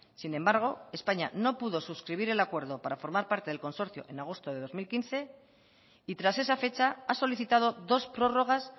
sin embargo españa no pudo suscribir el acuerdo para formar parte en el consorcio en agosto del dos mil quince y tras esa fecha ha solicitado dos prórrogas